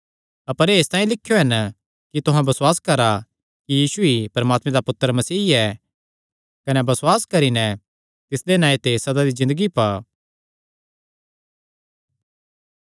अपर एह़ इसतांई लिखयो हन कि तुहां बसुआस करा कि यीशु ई परमात्मे दा पुत्तर मसीह ऐ कने बसुआस करी नैं तिसदे नांऐ ते सदा दी ज़िन्दगी पा